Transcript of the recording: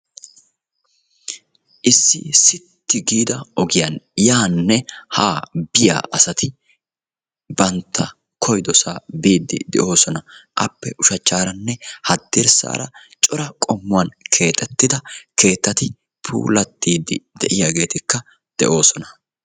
issi issi giigida ogiyan yaanne haanne biya asati bantta koyidosaa biidi de'oosona. Appe ushachaaninne hadirsaara cora qommuwan keexxettida keettatti puulattidi de'iyaageetikka de'oosona.